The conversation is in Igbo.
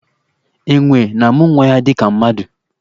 Enwè na-amụ nwa ya dịka mmadụ.